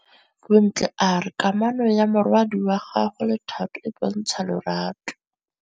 Bontle a re kamanô ya morwadi wa gagwe le Thato e bontsha lerato.